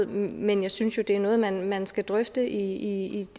men jeg synes jo det er noget man man skal drøfte i